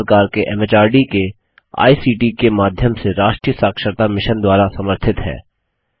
भारत सरकार के एमएचआरडी के आईसीटी के माध्यम से राष्ट्रीय साक्षरता मिशन द्वारा समर्थित है